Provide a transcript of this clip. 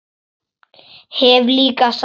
Hef líka sagt honum það.